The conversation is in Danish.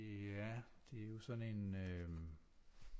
Ja det er jo sådan en øh